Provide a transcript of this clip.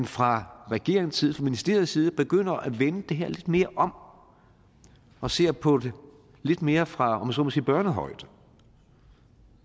fra regeringens side fra ministeriets side begynder at vende det her lidt mere om og ser på det lidt mere fra om jeg så må sige børnehøjde